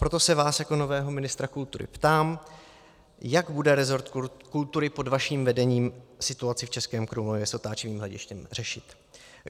Proto se vás jako nového ministra kultury ptám, jak bude resort kultury pod vaším vedením situaci v Českém Krumlově s otáčivým hledištěm řešit.